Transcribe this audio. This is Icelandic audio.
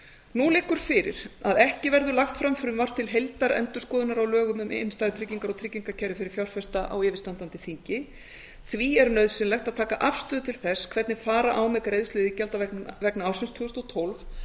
nú liggur fyrir að ekki verður lagt fram frumvarp til heildarendurskoðunar á lögum um innstæðutryggingar og tryggingakerfi fyrir fjárfesta á yfirstandandi þingi því er nauðsynlegt að taka afstöðu til þess hvernig fara á með greiðslu iðgjalda vegna ársins tvö þúsund og tólf